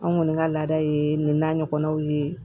An kɔni ka laada ye nin n'a ɲɔgɔnnaw ye